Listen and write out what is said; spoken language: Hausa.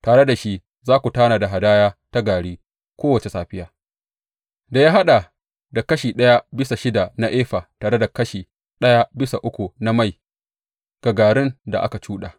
Tare da shi za ku tanada hadaya ta gari kowace safiya, da ya haɗa da kashi ɗaya bisa shida na efa tare da kashi ɗaya bisa uku na mai ga garin da aka cuɗa.